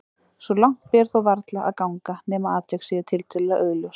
Svo langt ber þó varla að ganga nema atvik séu tiltölulega augljós.